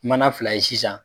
Mana fila ye sisan